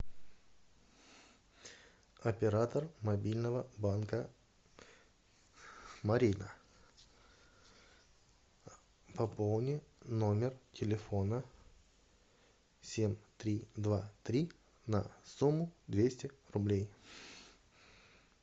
оператор мобильного банка марина пополни номер телефона семь три два три на сумму двести рублей